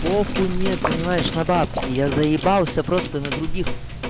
похуй мне понимаешь на бабки я заебался просто на других